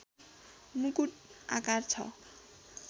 मुकुट आकार छ